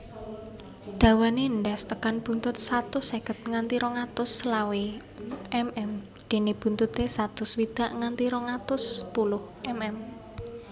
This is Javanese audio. Dawane endhas tekan buntut satus seket nganti rong atus selawe mm dene buntute satus swidak nganti rong atus sepuluh mm